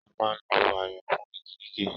A máa ń lo ayùn fún igi gígé